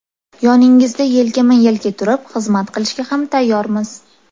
Yoningizda yelkama-yelka turib, xizmat qilishga ham tayyormiz.